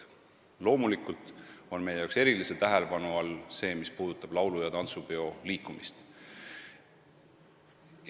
Loomulikult on meie jaoks erilise tähelepanu all see, mis puudutab laulu- ja tantsupeoliikumist.